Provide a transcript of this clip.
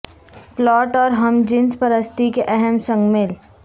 plot اور ہم جنس پرستی کے اہم سنگ میل